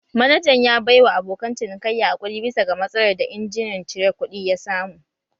Manajan ya baiwa abokan cinikayya haƙuri bisa ga matsalar da injimin cire kuɗi ya samu